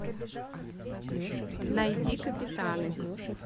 найди капитаны